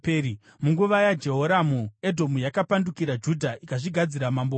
Munguva yaJehoramu, Edhomu yakapandukira Judha ikazvigadzira mambo wayo.